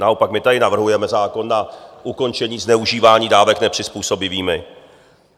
Naopak my tady navrhujeme zákon na ukončení zneužívání dávek nepřizpůsobivými.